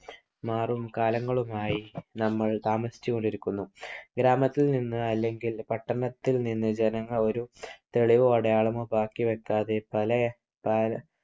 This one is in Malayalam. മാറും കാലങ്ങളുമായി നമ്മൾ താമസിച്ചുകൊണ്ടിരിക്കുന്നു. ഗ്രാമത്തിൽ നിന്ന് അല്ലെങ്കിൽ പട്ടണത്തിൽ നിന്ന് ജനങ്ങൾ ഒരു തെളിവോ അടയാളമോ ബാക്കി വയ്ക്കാതെ പല